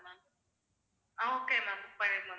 அஹ் okay ma'am, book பண்ணிருங்க ma'am